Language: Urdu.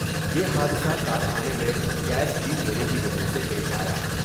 یہ حادثہ کارخانے میں گیس لیک ہونے کی وجہ سے پیش آیا۔